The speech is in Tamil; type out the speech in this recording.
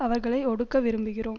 அவர்களை ஒடுக்க விரும்புகிறோம்